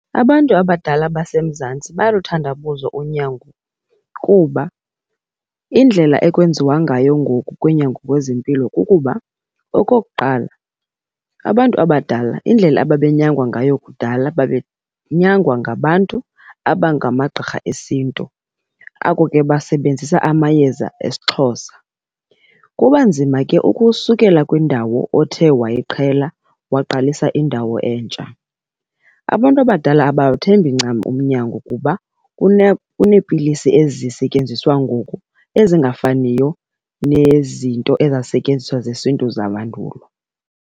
Abantu abadala baseMzantsi bayaluthandabuza unyango kuba indlela ekwenziwa ngayo ngoku kunyango wezempilo kukuba okokuqala, abantu abadala indlela ababenyangwa ngayo kudala babe nyangwa ngabantu abangamagqirha esintu abo ke basebenzisa amayeza esiXhosa. Kuba nzima ke ukusukela kwindawo othe wayiqhela waqalisa indawo entsha. Abantu abadala abawuthembi ncam umnyango kuba unepilisi ezisentyenziswa ngoku ezingafaniyo nezinto ezazisentyenziswa zesintu zamandulo.